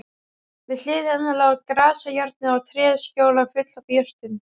Við hlið hennar lá grasajárnið og tréskjóla full af jurtum.